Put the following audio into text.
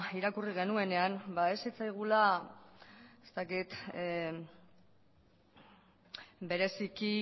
irakurri genuenean ba ez zitzaigula bereziki